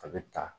A bɛ ta